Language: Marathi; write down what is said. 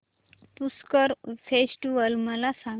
पुष्कर फेस्टिवल मला सांग